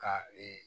Ka